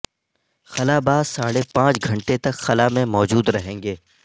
خلا باز ساڑھے پانچ گھنٹے تک خلا میں موجود رہیں گے